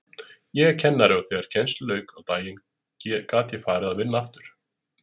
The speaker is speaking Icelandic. Ég er kennari og þegar kennslu lauk á daginn gat ég farið að vinna annað.